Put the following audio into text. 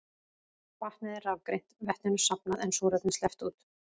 Vatnið er rafgreint, vetninu safnað en súrefni sleppt út.